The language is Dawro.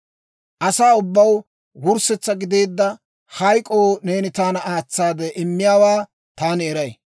Asaw ubbaw wurssetsa gideedda hayk'oo neeni taana aatsaade immiyaawaa taani eray.